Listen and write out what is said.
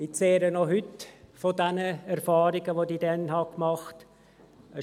Ich zehre noch heute von den Erfahrungen, die ich damals gemacht habe.